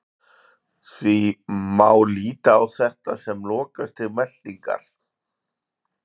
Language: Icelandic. Því má líta á þetta sem lokastig meltingar.